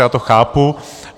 Já to chápu.